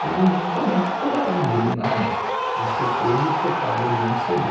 Todo mundo também ficou indignado de eu ser preso por causa de um cê dê.